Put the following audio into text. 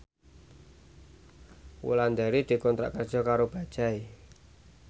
Wulandari dikontrak kerja karo Bajaj